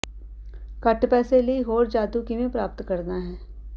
ਘੱਟ ਪੈਸੇ ਲਈ ਹੋਰ ਜਾਦੂ ਕਿਵੇਂ ਪ੍ਰਾਪਤ ਕਰਨਾ ਹੈ